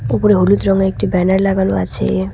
ওপরে হলুদ রঙের একটি ব্যানার লাগানো আছে।